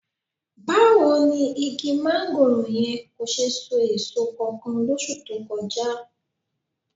Báwo ni igi máńgòrò yẹn kò ṣe so èso kankan lóṣù tó kọjá?